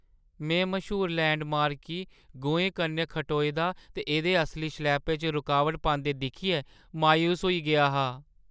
में मश्हूर लैंडमार्क गी गोएं कन्नै खटोए दे ते एह्दे असली शलैपे च रुकावट पांदे दिक्खियै मायूस होई गेआ हा।